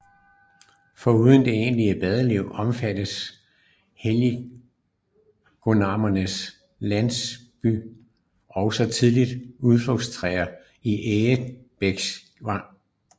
Foruden det egentlige badeliv omfattede helsingoranernes landliggersysler også tidligt udflugtsture til Egebæksvang